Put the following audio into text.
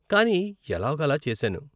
కానీ ఎలాగో అలా చేశాను.